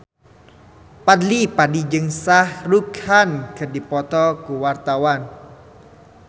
Fadly Padi jeung Shah Rukh Khan keur dipoto ku wartawan